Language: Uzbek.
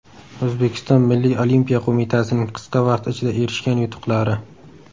O‘zbekiston Milliy olimpiya qo‘mitasining qisqa vaqt ichida erishgan yutuqlari.